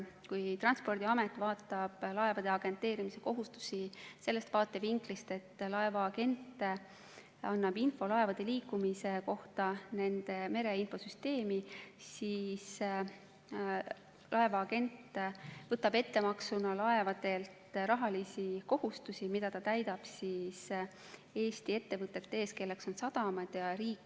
Kui Transpordiamet vaatab laevade agenteerimise kohustusi sellest vaatevinklist, et laevaagent annab info laevade liikumise kohta nende mereinfosüsteemi, siis laevaagent võtab ettemaksuna laevadelt rahalisi kohustusi, mida ta täidab Eesti ettevõtete ees, kelleks on sadamad ja riik.